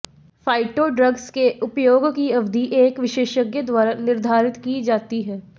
phyto drugs के उपयोग की अवधि एक विशेषज्ञ द्वारा निर्धारित की जाती है